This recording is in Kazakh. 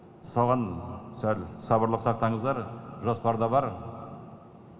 соған сәл сабырлық сақтаңыздар жоспарда бар